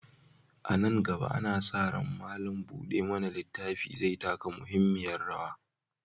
A nan gaba, ana sa ran malam buɗe mana littafi zai taka muhimmiyar rawa.